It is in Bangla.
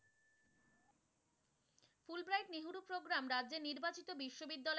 Program রাজ্যে নির্বাচিত বিশ্ববিদ্যালয়,